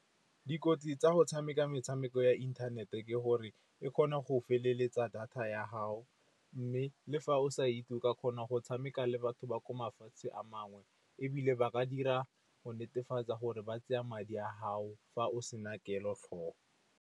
Dikotsi tsa go tshameka metshameko ya inthanete ke gore e kgona go feleletsa data ya gago. Mme le fa o sa itse o ka kgona go tshameka le batho ba ko mafatsheng a mangwe, ebile ba ka dira go netefatsa gore ba tseya madi a gago fa o se na kelotlhoko.